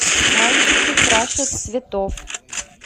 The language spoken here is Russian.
мальчики краше цветов